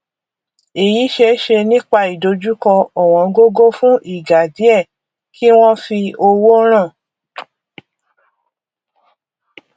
èyí ṣeéṣe nípa ìdojúkọ ọwọngógó fún ìgà díẹ kí wọn fi owó ràn